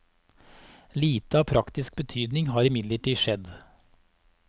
Lite av praktisk betydning har imidlertid skjedd.